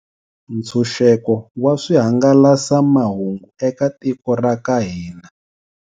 Ntshunxeko wa swihangala samahungu eka tiko ra ka hina.